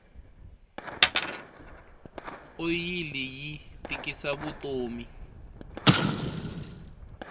oyili yi tikisa vutomi